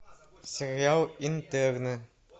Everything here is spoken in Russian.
сериал интерны